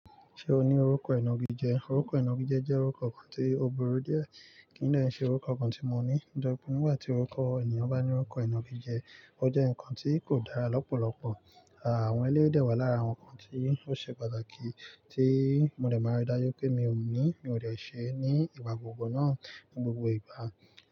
Ṣé o ní orúkọ ìnagijẹ? Orúkọ ìnagijẹ jẹ́ orúkọ kan tí ó burú díẹ̀, kì í dè n ṣe orúkọ kan tí mo ní. Nitori pe nígbà tí orúkọ ènìyàn bá ní orúkọ ìnagijẹ, ó jẹ́ nǹkan tí kò dára lọ́pọ̀lọpọ̀. Àwọn eléyii dẹ̀ wà lára àwọn nǹkan tí ó ṣe pàtàkì, tí mo dẹ̀ máa rí dáju wi pé mi ò ní, mi ò dè ṣe e ní ìgbà gbogbo náà, ní gbogbo ìgbà.